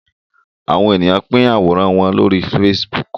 Àwọ̀n ènìyàn pin Àwòrán wón lórí Facebook.